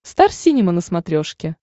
стар синема на смотрешке